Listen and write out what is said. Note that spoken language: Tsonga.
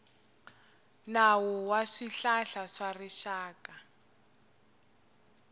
nawu wa swihlahla swa rixaka